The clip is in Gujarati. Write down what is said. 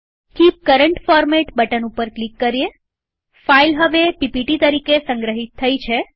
કીપ કરંટ ફોરમેટ બટન ઉપર ક્લિક કરીએફાઈલ હવે પીપીટી તરીકે સંગ્રહિત થઇ છે